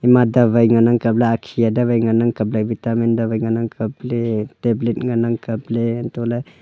ma dawai ngan nang kapla akhiaa dawai ngan nang kaple vitamin dawai ngan nang kaple tablet ngan nang kaple hantole.